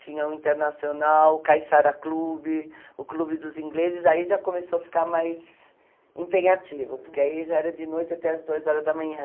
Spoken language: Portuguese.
tinha o Internacional, o Caissara Clube, o Clube dos Ingleses, aí já começou a ficar mais empenhativo, porque aí já era de noite até as duas horas da manhã.